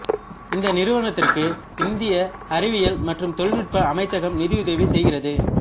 இந்த நிறுவனத்திற்கு இந்திய அறிவியல் மற்றும் தொழில்நுட்ப அமைச்சகம் நிதியுதவி செய்கிறது